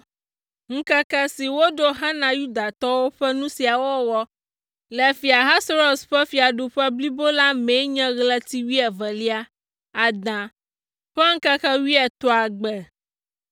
Ŋkeke si woɖo hena Yudatɔwo ƒe nu sia wɔwɔ le Fia Ahasuerus ƒe fiaɖuƒe blibo la mee nye ɣleti wuievelia, Ada, ƒe ŋkeke wuietɔ̃a gbe.